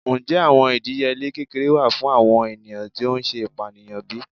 Njẹ awọn idiyele kekere wa fun awọn eniyan ti o ṣe ipaniyan bi?